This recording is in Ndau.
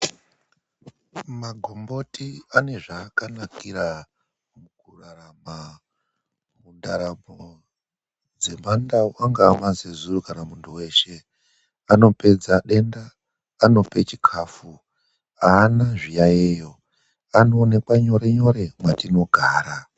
MAGOMBOTI ANE ZVAAKANAKIRA MUKURARAMA, MUNDARAMO DZEMANDAU, ANGAA MAZEZURU KANA MUNTU WESHE. ANOPEDZA DENDA, ANOPE CHIKAFU. HAANA ZVIYAYIYO. ANOONEKWA NYORE NYORE MWATINOGARA.